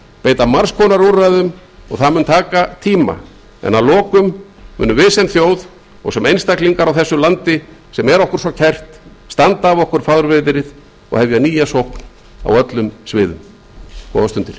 beita margs konar úrræðum og það mun taka tíma en að lokum munum við sem þjóð og sem einstaklingar á þessu landi sem er okkur svo kært standa af okkur fárviðrið og hefja nýja sókn á öllum sviðum góðar stundir